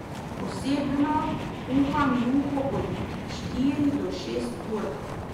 Osebno kuham juho od štiri do šest ur.